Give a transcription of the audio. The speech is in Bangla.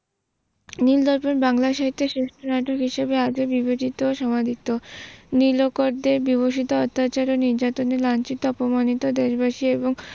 বাংলা সাহিত্যের শ্রেষ্ঠ নাটক হিসেবে আজ ও বিবেচিত ও সমাধিত। নীলকরদের বিমুষিত অত্যাচার ও নির্যাতনে লাঞ্ছিত অপমানিত দেশবাসী এবং